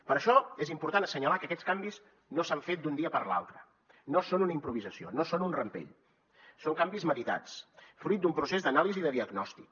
per això és important assenyalar que aquests canvis no s’han fet d’un dia per l’altre no són una improvisació no són un rampell són canvis meditats fruit d’un procés d’anàlisi i de diagnòstic